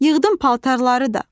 Yığdım paltarları da.